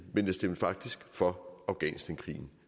men jeg stemte faktisk for afghanistankrigen